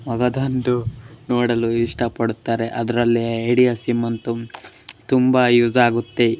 ಮಗದೊಂದು ನೋಡಲು ಇಷ್ಟ ಪಡ್ತಾರೆ ಅದ್ರಲ್ಲಿ ಐಡಿಯಾ ಸಿಮ್ ಅಂತೂ ತುಂಬಾನೇ ಯೂಸ್ ಆಗುತ್ತೆ --